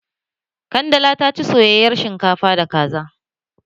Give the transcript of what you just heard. Kandala ta ci soyayar shinkafa da kaza